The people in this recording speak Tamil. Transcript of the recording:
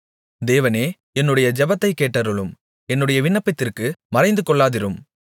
தேவனே என்னுடைய ஜெபத்தைக் கேட்டருளும் என்னுடைய விண்ணப்பத்திற்கு மறைந்துகொள்ளாதிரும்